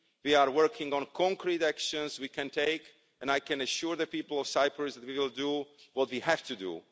We are working on concrete actions we can take and I can assure the people of Cyprus that we will do what we have to do.